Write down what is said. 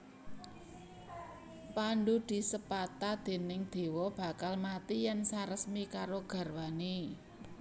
Pandhu disepata déning dewa bakal mati yèn saresmi karo garwané